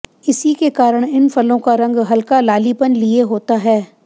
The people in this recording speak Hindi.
इसी के कारण इन फलों का रंग हल्का लालीपन लिए होता है